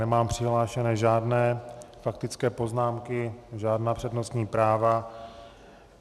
Nemám přihlášené žádné faktické poznámky, žádná přednostní práva.